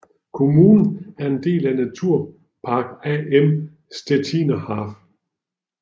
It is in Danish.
Kommunen er en del af Naturpark Am Stettiner Haff